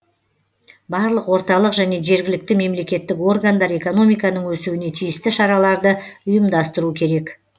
барлық орталық және жергілікті мемлекеттік органдар экономиканың өсуіне тиісті шараларды ұйымдастыру керек